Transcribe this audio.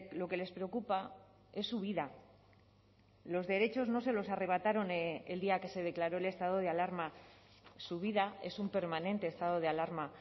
lo que les preocupa es su vida los derechos no se los arrebataron el día que se declaró el estado de alarma su vida es un permanente estado de alarma